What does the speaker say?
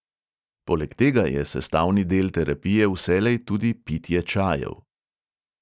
Poleg tega je sestavni del terapije vselej tudi pitje čajev.